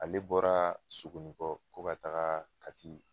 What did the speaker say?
Ale bɔra sokoninkɔ ko ka taga kati